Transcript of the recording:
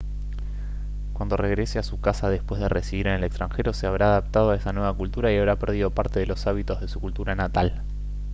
cuando regrese a su casa después de residir en el extranjero se habrá adaptado a esa nueva cultura y habrá perdido parte de los hábitos de su cultura natal